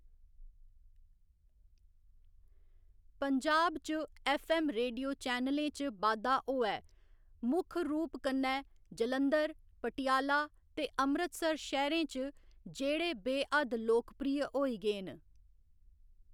पंजाब च FM. Radio चैनलें च बाद्धा होआ ऐ, मुक्ख रूप कन्नै जालंधर, पटियाला ते अमृतसर शैह्‌‌‌रें च, जेह्‌‌ड़े बे हद्द लोकप्रिय होई गे न।